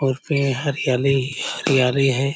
और पेड़ हरयाली-हरयाली है।